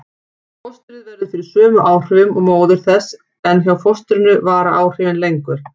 Fóstrið verður fyrir sömu áhrifum og móðir þess en hjá fóstrinu vara áhrifin lengur.